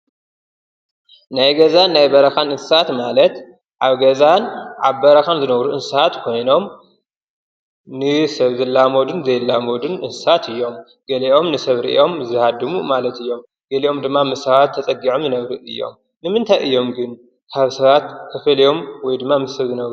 ናይ ገዛን ናይ በረኻን እንስሳ ማለት ኣብ ገዛን ኣብ በረኻን ዝነብሩ እንስሳት ኮይኖም ንሰብ ዝላመዱን ዘይላመዱን እንስሳት እዮም። ገሊኦም ንሰብ ሪኦም ዝሃድሙ ማለት እዮም፣ ገሊኦም ድማ ምስ ሰባት ተፀጊዖም ዝነብሩ እዮም፣ ንምንታይ እዮም ግን ካብ ሰባት ተፈልዮም ወይድማ ምስ ሰብ ዝነብሩ?